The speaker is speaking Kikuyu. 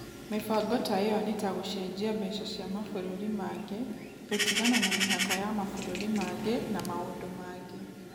Mĩbango ta ĩyo nĩ ta gũcenjia mbeca cia mabũrũri mangĩ, gũtigana na mĩhaka ya mabũrũri mangĩ, na maũndũ mangĩ.